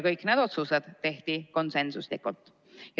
Kõik need otsused tehti konsensusega.